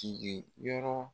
Jigi yɔrɔ